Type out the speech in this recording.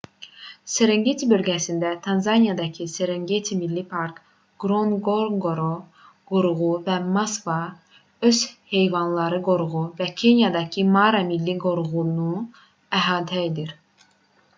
serengeti bölgəsi tanzaniyadakı serengeti milli parkı ngorongoro qoruğu və masva ov heyvanları qoruğu və kenyadakı mara milli qoruğunu əhatə edir